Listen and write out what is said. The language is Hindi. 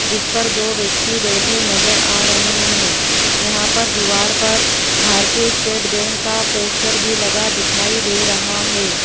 जिस पर दो व्यक्ति बैठे नजर आ रहे हैं यहां पर दीवार पर भारतीय स्टेट बैंक का पोस्टर भी लगा दिखाई दे रहा है।